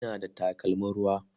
Ina da takalmin ruwa?